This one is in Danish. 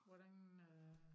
Hvordan øh